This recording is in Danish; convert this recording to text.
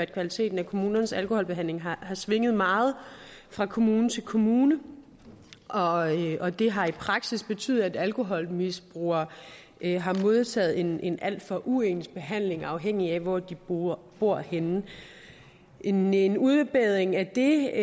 kvaliteten af kommunernes alkoholbehandling har svinget meget fra kommune til kommune og og det har i praksis betydet at alkoholmisbrugere har modtaget en en alt for uens behandling afhængig af hvor de bor bor henne en en udbedring af det